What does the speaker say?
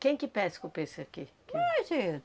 Quem que pesca o peice aqui, que... Mas, é